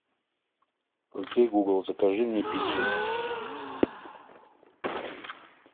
окей гугл закажи мне пиццу